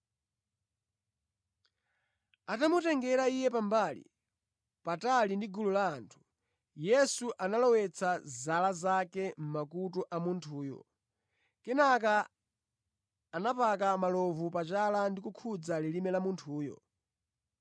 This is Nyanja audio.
Atamutengera iye pambali, patali ndi gulu la anthu, Yesu analowetsa zala zake mʼmakutu a munthuyo. Kenaka anapaka malovu pachala ndi kukhudza lilime la munthuyo.